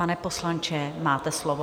Pane poslanče, máte slovo.